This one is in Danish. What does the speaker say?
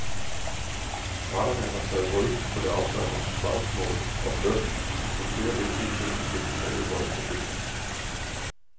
Parterne har taget hul på det afgørende slagsmål om lønnen, men flere vigtige tekniske detaljer volder problemer.